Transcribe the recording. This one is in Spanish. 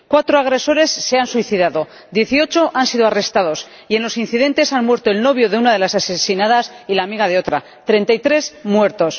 Cuatro agresores se han suicidado, 18 han sido arrestados y en los incidentes han muerto el novio de una de las asesinadas y la amiga de otra 33 muertos.